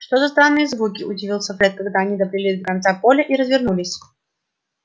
что за странные звуки удивился фред когда они доплыли до конца поля и развернулись